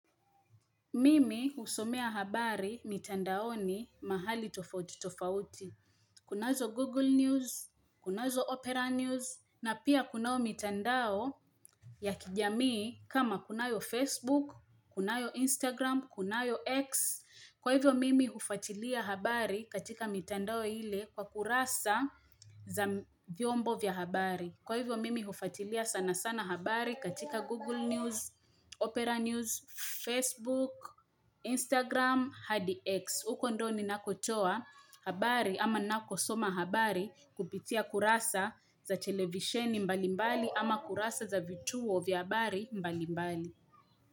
Mimi husomea habari mitandao ni mahali tofauti tofauti. Kunazo Google News, kunazo Opera News, na pia kunayo mitandao ya kijamii kama kunayo Facebook, kunayo Instagram, kunayo X. Kwa hivyo mimi hufuatilia habari katika mitandao ile kwa kurasa za vyombo vya habari. Kwa hivyo mimi hufatilia sana sana habari katika Google News, Opera News, Facebook, Instagram, HDX. Uko ndo ninakotoa habari ama nako soma habari kupitia kurasa za televisheni mbalimbali ama kurasa za vituo vya habari mbalimbali.